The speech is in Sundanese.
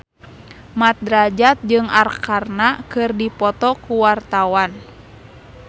Mat Drajat jeung Arkarna keur dipoto ku wartawan